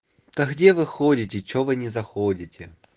а где вы ходите что вы не заходите